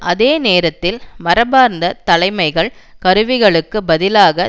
அதே நேரத்தில் மரபார்ந்த தலைமைகள் கருவிகளுக்கு பதிலாக